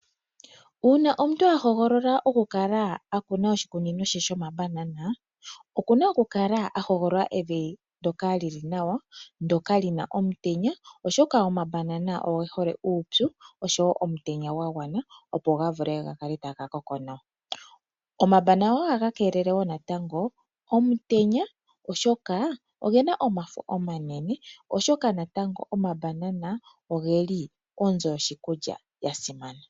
Uuna omuntu a hogolola oku kala ena oshikunino she shomabanana, okuna okukala a hogolola evi ndyoka lyili nawa, lina omutenya oshoka oge hole omutenya nuupyu opo ga vule gakale taga koko nawa. Omabanana ohaga keelele omutenya oshoka ogena omafo omanene, go ogeli onzo yoshikulya yasimana.